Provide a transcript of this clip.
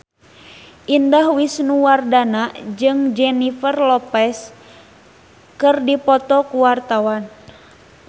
Indah Wisnuwardana jeung Jennifer Lopez keur dipoto ku wartawan